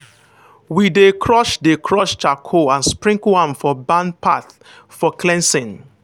we dey crush dey crush charcoal and sprinkle am for barn path for cleansing.